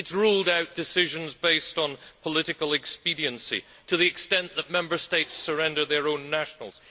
It has ruled out decisions based on political expediency to the extent that Member States surrender their own nationals.